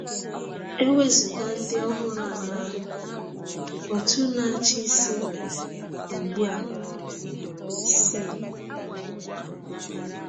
E wezụga ndị ọhụrụ anọ ahụ, Òtù Na-achị Isi nwere ugbu a C.